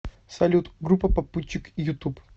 салют группа попутчик ютуб